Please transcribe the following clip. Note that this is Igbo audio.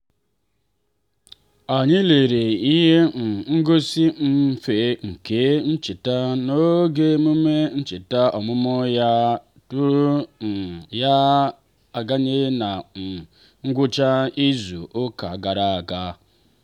anyị lere ihe um ngosi mmịfe nke ncheta n'oge emume ncheta ọmụmụ ya tụrụ um ya n'anya na um ngwụcha izu ụka gara aga.